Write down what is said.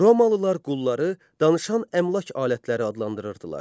Romalılar qulları danışan əmlak alətləri adlandırırdılar.